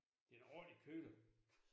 Det en ordentlig køter